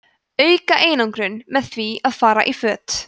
auka einangrun með því að fara í föt